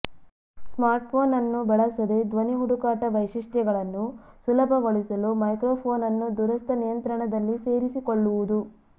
smartphone ಅನ್ನು ಬಳಸದೆ ಧ್ವನಿ ಹುಡುಕಾಟ ವೈಶಿಷ್ಟ್ಯಗಳನ್ನು ಸುಲಭಗೊಳಿಸಲು ಮೈಕ್ರೊಫೋನ್ ಅನ್ನು ದೂರಸ್ಥ ನಿಯಂತ್ರಣದಲ್ಲಿ ಸೇರಿಸಿಕೊಳ್ಳುವುದು